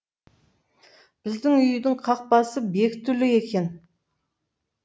біздің үйдің қақпасы бекітулі екен